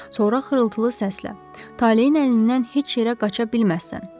Sonra xırıltılı səslə: Taleyin əlindən heç yerə qaça bilməzsən,